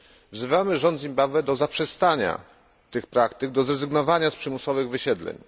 Wzywamy rząd Zimbabwe do zaprzestania tych praktyk, do zrezygnowania z przymusowych wysiedleń.